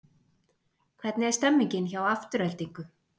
Hvernig er stemmingin hjá Aftureldingu?